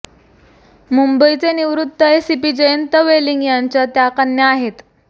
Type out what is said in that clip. मुंबईचे निवृत्त एसीपी जयंत वेलिंग यांच्या त्या कन्या आहेत